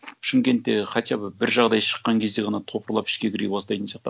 шымкентте хотя бы бір жағдай шыққан кезде ғана топырлап ішке кіре бастайтын сияқты